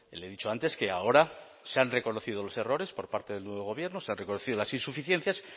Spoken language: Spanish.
le he dicho antes que ahora se han reconocido los errores por parte del nuevo gobierno se han reconocido las insuficiencias